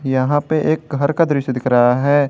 यहां पे एक घर का दृश्य दिख रहा है।